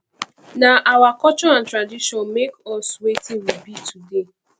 nah our culture and tradition make us wetin we be today